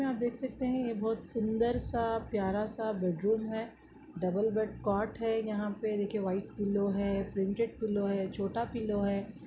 यहाँ आप देख सकते है यह बहुत सुंदर- सा प्यार -सा बेडरूम है डबल बेड कोट है यहाँ पे देखिए व्हाइट पिल्लो है प्रिंटेड पिल्लो है छोटा पिल्लो हैं।